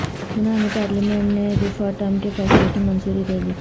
یونانی پارلیمنٹ نے ریفرنڈم کے فیصلے کی منظوری دے دی